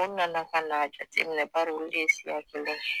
u nana ka n'a jateminɛ bari olu de ye siya kelen ye